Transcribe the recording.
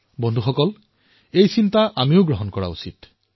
বিশ্বৰ ভিতৰতে যিসমূহৰ শ্ৰেষ্ঠ সেয়া আমি ভাৰতত নিৰ্মাণ কৰি দেখুৱাম